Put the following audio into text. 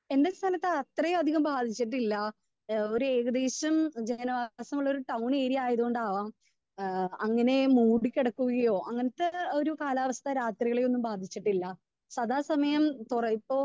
Speaker 2 എന്റെ സ്ഥലത്ത് അത്രയും അധികം ബാധിച്ചിട്ടില്ല. ഏഹ് ഒരു ഏകദേശം ജനവാസമുള്ള ഒരു സ്ഥലം ഏരിയ ആയത് കൊണ്ടാവാം ഏഹ് അങ്ങനെ മൂടി കിടക്കുകയോ അങ്ങനത്തെ ഒരു കാലാവസ്ഥ രാത്രികളിലൊന്നും ബാധിച്ചിട്ടില്ല. സദാ സമയം ഇപ്പോൾ